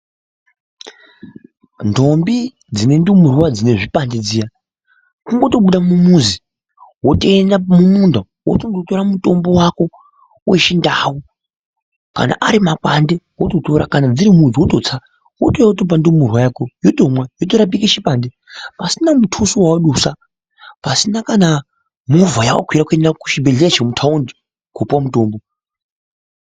Ntombi dzine ndumurwa dzine zvipande zviya , kungotobuda mumuzi, wotoenda mumunda wotondotora mutombo wako wechindau. Kana ari makwande wototora, kana dziri midzi wototsa , wotouya wotopa ndumurwa yako yotomwa yotorapika chipande pasina muthusvo wawadusa , pasina kana movha yawakwira kuenda kuchibhedhleya chemuthaundi kopuwa mutombo.